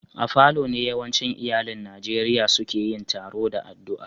A falo ne yawancin iyallin Nijeriya seke yin taroa da addua.